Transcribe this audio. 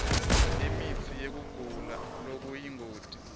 imitsi yekugula lokuyingoti